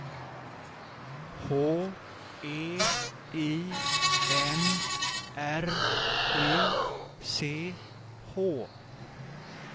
H E I N R I C H